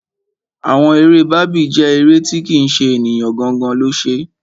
Àwọn eré Barbie jẹ́ eré tí kì ṣe ènìyàn gangan lo ṣe.